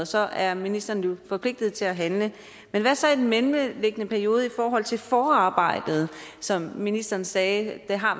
så er ministeren jo forpligtet til at handle men hvad så i den mellemliggende periode i forhold til forarbejdet som ministeren sagde har